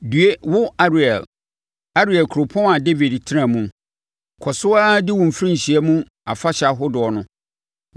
Due wo Ariel, Ariel, kuropɔn a Dawid tenaa mu! Kɔ so ara di wo mfirinhyia mu afahyɛ ahodoɔ no.